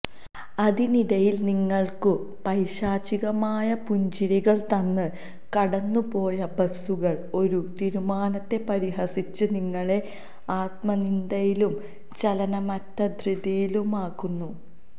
അതിനിടയിൽ നിങ്ങൾക്കു പൈശാചികമായ പുഞ്ചിരികൾ തന്ന് കടന്നുപോയ ബസുകൾ ഒരു തീരുമാനത്തെ പരിഹസിച്ച് നിങ്ങളെ ആത്മനിന്ദയിലും ചലനമറ്റ ധൃതിയിലുമാക്കുന്നു